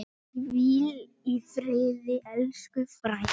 Hvíl í friði, elsku frænka.